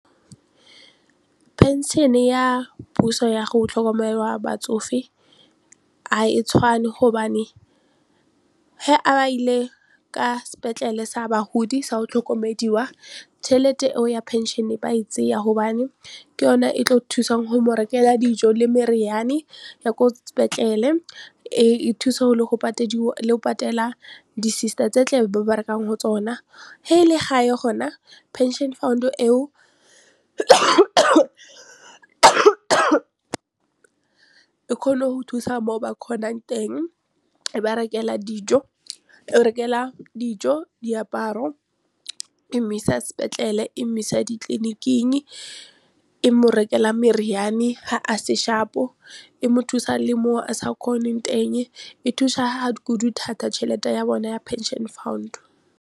Pension -e ya puso ya go tlhokomela batsofe ga e tshwane gobane he a ile ka sepetlele sa bahodi sa o tlhokomediwa tšhelete eo ya pension e ba e tsaya gobane ke yone e tlo thusang go mo rekela dijo le meriane ya ko sepetlele, e thusa le le go patela di sister tse tle ba berekang go tsona. Ha e le gae gona pension fund-e eo e kgone go thusa mo ba kgonang teng e ba rekela dijo, e rekelwa dijo diaparo e mo isa sepetlele e mo isa ditleliniking, e mo rekelwa meriane ha a se sharp-o e mo thusa le mo o a sa kgoneng teng e thusa kudu thata tšhelete ya bone ya pension fund.